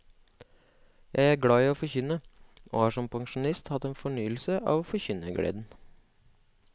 Jeg er glad i å forkynne, og har som pensjonist hatt en fornyelse av forkynnergleden.